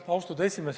Austatud esimees!